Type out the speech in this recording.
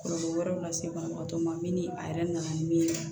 Kɔlɔlɔ wɛrɛw lase banabagatɔ ma min ni a yɛrɛ nana min ye